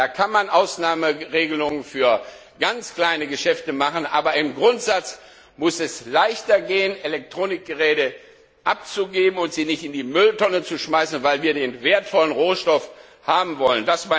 Da kann man Ausnahmeregelungen für ganz kleine Geschäfte machen, aber im Grundsatz muss es leichter sein, Elektronikgeräte abzugeben und sie nicht in die Mülltonne zu schmeißen, weil wir den wertvollen Rohstoff haben wollen.